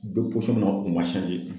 Bɛ na u man